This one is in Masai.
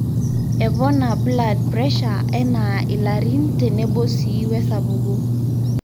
epona blood pressure enaa ilarin tenebo sii wesapuko